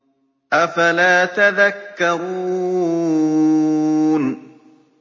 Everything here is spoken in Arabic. أَفَلَا تَذَكَّرُونَ